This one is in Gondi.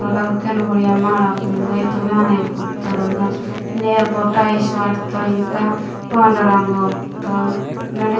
नोडा को केन गुड्डिया माडा मेन्देईत्तोर माने कुइत्तोर अगा नेल वो टाइल्स वाटत्तोर अगा पान्ड रंग ओईत्तोर मेंडे।